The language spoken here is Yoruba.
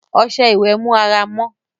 ọsẹ ìwe mú àrà mọ